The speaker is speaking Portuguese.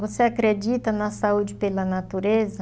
Você acredita na saúde pela natureza?